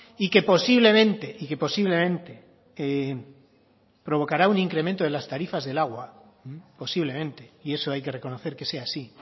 y que posiblemente y que posiblemente provocará un incremento de las tarifas del agua posiblemente y eso hay que reconocer que sea así